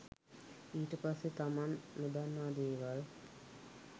ඊට පස්සේ තමන් නොදන්නා දේවල්